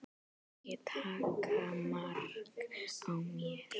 Ekki taka mark á mér.